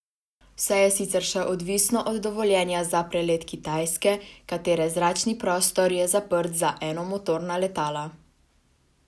Vse je sicer še odvisno od dovoljenja za prelet Kitajske, katere zračni prostor je zaprt za enomotorna letala.